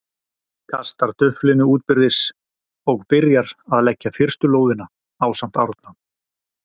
kastar duflinu útbyrðis og byrjar að leggja fyrstu lóðina, ásamt Árna.